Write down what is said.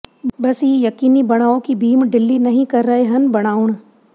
ਬਸ ਇਹ ਯਕੀਨੀ ਬਣਾਓ ਕਿ ਬੀਮ ਢਿੱਲੀ ਨਹੀ ਕਰ ਰਹੇ ਹਨ ਬਣਾਉਣ